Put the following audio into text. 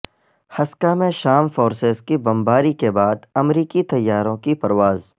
Hasakah میں شام forces کی بمباری کے بعد امریکی طیاروں کی پرواز